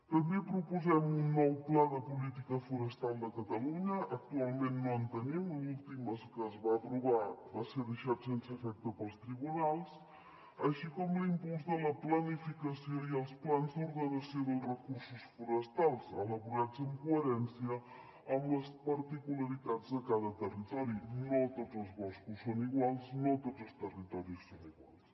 també proposem un nou pla de política forestal de catalunya actualment no en tenim l’últim que es va aprovar va ser deixat sense efecte pels tribunals així com l’impuls de la planificació i els plans d’ordenació dels recursos forestals elaborats en coherència amb les particularitats de cada territori no tots els boscos són iguals no tots els territoris són iguals